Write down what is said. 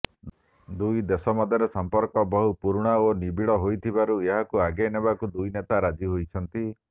ଦୁଇଦେଶ ମଧ୍ୟରେ ସମ୍ପର୍କ ବହୁ ପୁରୁଣା ଓ ନିବିଡ ହୋଇଥିବାରୁ ଏହାକୁ ଆଗେଇ ନେବାକୁ ଦୁଇନେତା ରାଜି ହୋଇଛନ୍ତି